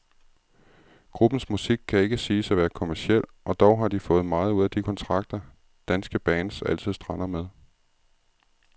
Gruppens musik kan ikke siges at være kommerciel, og dog har de fået meget ud af de kontrakter, danske bands altid strander med.